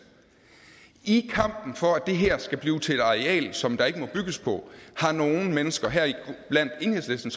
i kampen for at det her skal blive til et areal som der ikke må bygges på har nogle mennesker heriblandt enhedslisten